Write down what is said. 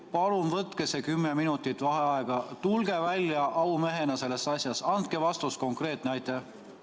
Palun võtke see 10 minutit vaheaega, tulge välja aumehena sellest asjast, andke konkreetne vastus!